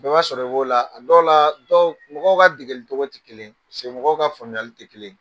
Bɛɛ b'a sɔrɔ i b'o la, a dɔw la, dɔw mɔgɔw ka degeli cogo tɛ kelen ye, mɔgɔw ka faamuyali tɛ kelen ye.